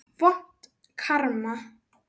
Vont karma.